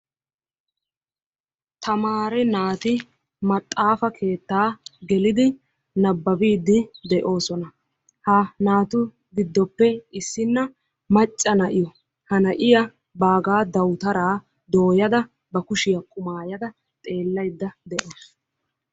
Tamaare naati maxaafa keettaa gelidi nabbabiidi de'oosona. ha naatu gidoppe issina maca na'iyao. ha na'iya baagaa dawutaraa dooyada nababayda deawusu.